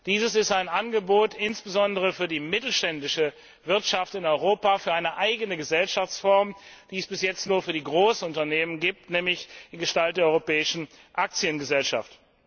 Dies ist ein Angebot insbesondere für die mittelständische Wirtschaft in Europa für eine eigene Gesellschaftsform, die es bis jetzt nur für die Großunternehmen gibt, nämlich in Gestalt der Europäischen Aktiengesellschaft.